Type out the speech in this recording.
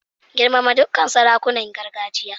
Girmama dukkan sarakunan gargajiya.